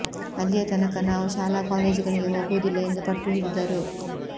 ಅಲ್ಲಿಯ ತನಕ ನಾವು ಶಾಲಾ ಕಾಲೇಜುಗಳಿಗೆ ಹೋಗುವುದಿಲ್ಲ ಎಂದು ಪಟ್ಟು ಹಿಡಿದರು